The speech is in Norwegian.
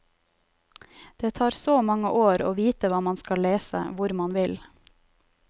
Det tar så mange år å vite hva man skal lese, hvor man vil.